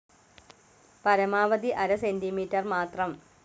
പരമാവധി അര സെന്റിമീറ്റർ മാത്രം.